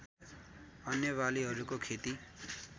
अन्य बालीहरूको खेती